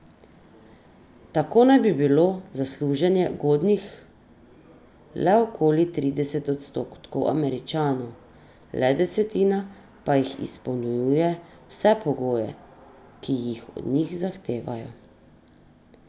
Tako naj bi bilo za služenje godnih le okoli trideset odstotkov Američanov, le desetina pa jih izpolnjuje vse pogoje, ki jih od njih zahtevajo.